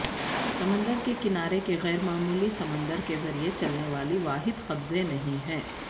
سمندر کے کنارے کے غیر معمولی سمندر کے ذریعے چلنے والی واحد قبضے نہیں ہے